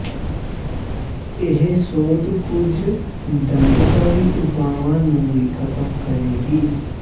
ਇਹ ਸੋਧ ਕੁਝ ਦੰਡਕਾਰੀ ਉਪਾਵਾਂ ਨੂੰ ਵੀ ਖਤਮ ਕਰੇਗੀ